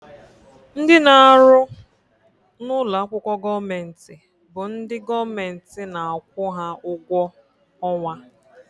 Ndị na-arụ n'ụlọakwụkwọ gọọmenti bụ ndị gọọmenti na-akwụ ha ụgwọ ọnwa